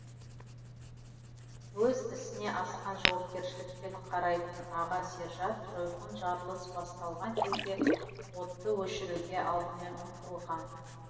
өз ісіне асқан жауапкершілікпен қарайтын аға сержант жойқын жарылыс басталған кезде отты өшіруге алдымен ұмтылған